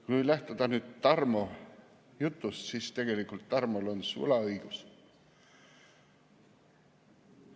Kui lähtuda Tarmo jutust, siis tegelikult on Tarmol sulaõigus.